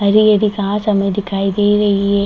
हरी-हरी घास हमें दिखाई दे रही है ।